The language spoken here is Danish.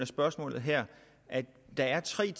spørgsmålet her at der er tre